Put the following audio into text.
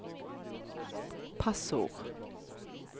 passord